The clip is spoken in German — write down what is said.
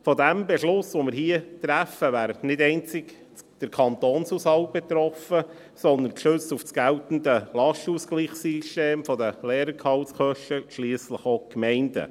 Vom Beschluss, den wir hier fassen, wäre nicht allein der Kantonshaushalt betroffen, sondern – gestützt auf das geltende Lastenausgleichssystem für die Lehrergehaltskosten – schliesslich auch die Gemeinden.